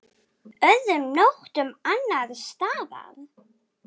Öðrum nóttum annars staðar?